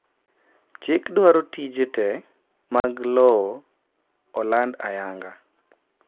chik dwaro tije te mag lowo oland ayanga